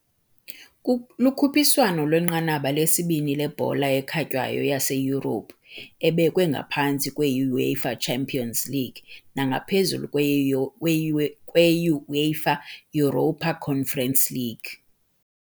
Lukhuphiswano lwenqanaba lesibini lebhola ekhatywayo yaseYurophu, ebekwe ngaphantsi kwe- UEFA Champions League nangaphezulu kwe-U kwe-UE kwe-UEFA Europa Conference League.